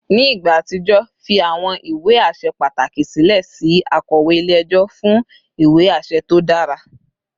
Ni igba atijọ, fi awọn iwe aṣẹ pataki silẹ si akọwe ile-ẹjọ fun iwe aṣẹ to dara